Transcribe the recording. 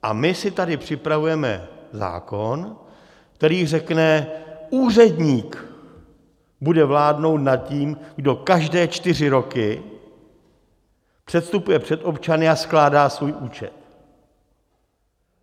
A my si tady připravujeme zákon, který řekne: úředník bude vládnout nad tím, kdo každé čtyři roky předstupuje před občany a skládá svůj účet.